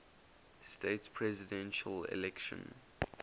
states presidential election